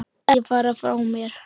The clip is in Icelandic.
Ekki fara frá mér!